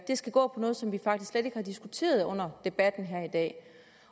skal gå på noget som vi faktisk slet ikke har diskuteret under debatten her i dag